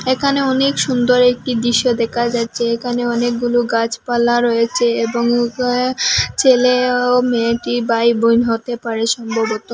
এখানে অনেক সুন্দর একটি দৃশ্য দেখা যাচ্ছে এখানে অনেকগুলো গাছপালা রয়েছে এবং উ ক ছেলে ও মেয়েটি ভাই বোন হতে পারে সম্ভবত।